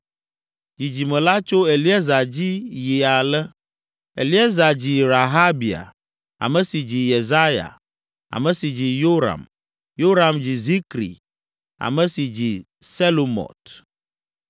Dzidzime la tso Eliezer dzi yi ale: Eliezer dzi Rehabia, ame si dzi Yesaya, ame si dzi Yoram, Yoram dzi Zikri, ame si dzi Selomɔt.